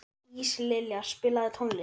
Íslilja, spilaðu tónlist.